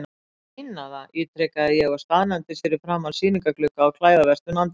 Ég meina það, ítrekaði ég og staðnæmdist fyrir framan sýningarglugga á klæðaverslun Andrésar.